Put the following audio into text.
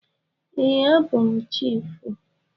Ee, abụ m chiịfụ.